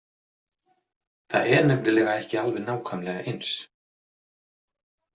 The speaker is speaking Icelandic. Það er nefnilega ekki alveg nákvæmlega eins.